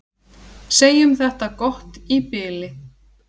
Segjum þetta gott í bili.